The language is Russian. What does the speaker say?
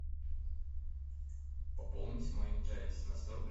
пополнить мой мтс на сто рублей